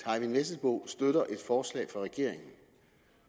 eyvind vesselbo støtter et forslag fra regeringen